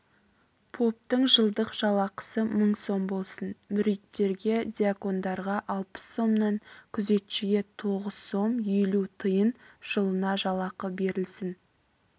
поптың жылдық жалақысы мың сом болсын мүриттерге дьякондарға алпыс сомнан күзетшіге тоғыз сом елу тиын жылына жалақы берілсін